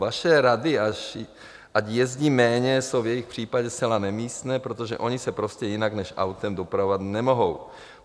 Vaše rady, ať jezdí méně, jsou v jejich případě zcela nemístné, protože oni se prostě jinak než autem dopravovat nemohou.